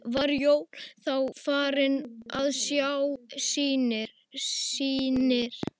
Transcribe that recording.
Var Jón þá farinn að sjá sýnir.